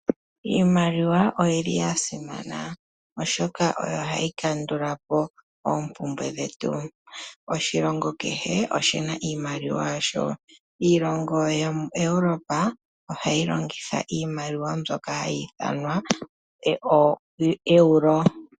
Iimaliwa oyi li ya simana oshoka ohayi kandula po oompumbwe dhetu. Oshilongo kehe oshi na iimaliwa yasho. Iilongo yokenenevi lyaEuropa ohayi longitha iimaliwa mbyoka hayi ithanwa ooEuro.